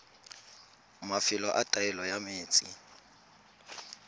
mafelo a taolo ya metsi